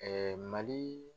Mali